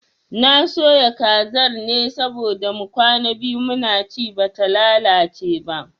Na soya kazar ne saboda mu kwana biyu muna ci bata lalace ba